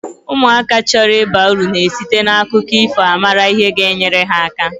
Ụmụaka chọrọ ịba uru na esite na akụkọ ifo a mara ihe ga- enyere ha aka.